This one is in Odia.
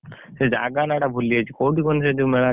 ସେ ଜାଗା ନା ଟା ଭୁଲିଯାଇଛି କୋଉଠି କହିଲୁ ସେ ଯୋଉ ମେଳା ଟା?